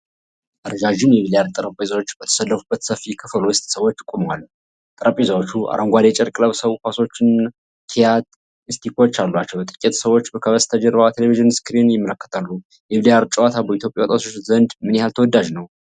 ረዣዥም የቢልያርድ ጠረጴዛዎች በተሰለፉበት ሰፊ ክፍል ውስጥ ሰዎች ቆመዋል። ጠረጴዛዎቹ አረንጓዴ ጨርቅ ለብሰው ኳሶችና ኪዩ ስቲኮች አሏቸው። ጥቂት ሰዎች ከበስተጀርባ ቴሌቪዥን ስክሪን ይመለከታሉ። የቢልያርድ ጨዋታ በኢትዮጵያ ወጣቶች ዘንድ ምን ያህል ተወዳጅ ነው?